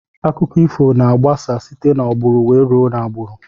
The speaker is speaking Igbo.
Akụkọ ifo na agbasa site na agburu wee rue na agburu.